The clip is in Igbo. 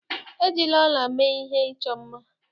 Ejila ọla mee ihe ịchọ mma.